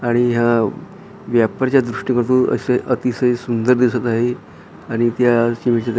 आणि या व्यापारच्या दृष्टिकोनातून असे अतिशय सुंदर दिसत आहे आणि त्या --